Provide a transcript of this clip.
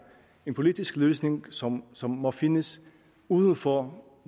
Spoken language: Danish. en politisk løsning som som må findes uden for